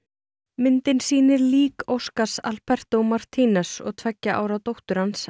myndin sýnir lík Oscars Alberto og tveggja ára dóttur hans